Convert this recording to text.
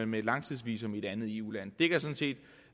med et langtidsvisum i et andet eu land vil jeg sige